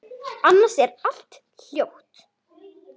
Annars er allt hljótt.